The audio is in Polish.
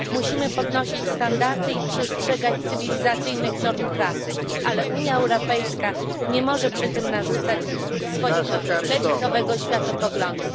Musimy podnosić standardy i przestrzegać cywilizacyjnych norm pracy, ale Unia Europejska nie może przy tym narzucać swojego lewicowego światopoglądu.